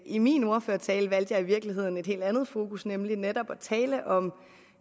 i min ordførertale valgte jeg i virkeligheden et helt andet fokus nemlig netop at tale om